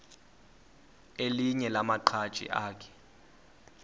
elinye lamaqhaji akhe